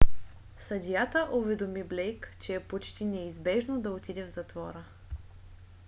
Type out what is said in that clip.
съдията уведоми блейк че е почти неизбежно да отиде в затвора